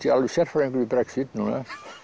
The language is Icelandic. alveg sérfræðingur í Brexit núna